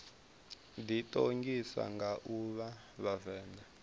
ḓiṱongisa nga u vha vhavenḓa